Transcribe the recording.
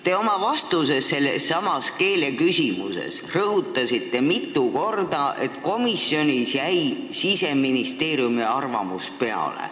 Te oma vastuses sellesama keeleküsimuse teemal rõhutasite mitu korda, et komisjonis jäi Siseministeeriumi arvamus peale.